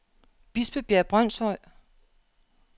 Bispebjerg Brønshøj